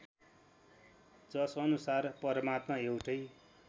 जसअनुसार परमात्मा एउटै